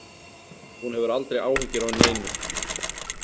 Hún hefur aldrei áhyggjur af neinu.